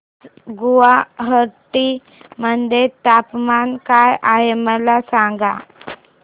आज गुवाहाटी मध्ये तापमान काय आहे मला सांगा